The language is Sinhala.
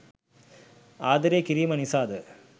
ආදරය කිරීම නිසාද?